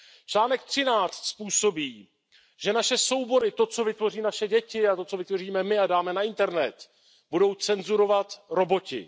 Článek 13 způsobí, že naše soubory, to, co vytvoří naše děti, a to, co vytvoříme my a dáme na internet, budou cenzurovat roboti.